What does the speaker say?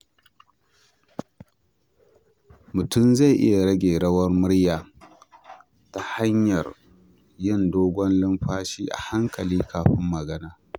Mutum zai iya rage rawar murya ta hanyar yin dogon numfashi a hankali kafin magana.